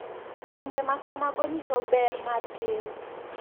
Timbe ma kamago nyiso ber mar keyo .